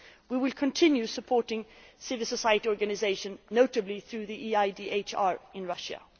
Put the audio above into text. We will continue supporting civil society organisations, notably through the EIDHR in Russia.